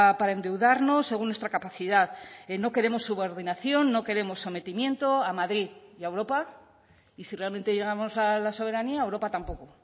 para endeudarnos según nuestra capacidad no queremos subordinación no queremos sometimiento a madrid y a europa y si realmente llegamos a la soberanía a europa tampoco